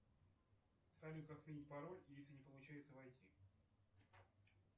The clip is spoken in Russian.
салют как сменить пароль если не получается войти